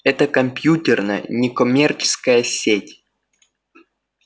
это компьютерная некоммерческая сеть